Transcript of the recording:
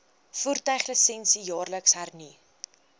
voertuiglisensie jaarliks hernu